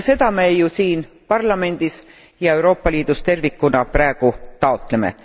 Ja seda me ju siin parlamendis ja Euroopa Liidus tervikuna praegu taotleme.